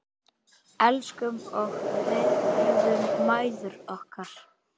Elskum og virðum mæður okkar.